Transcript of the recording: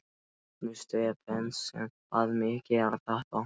Magnús Stephensen bað mig gera þetta.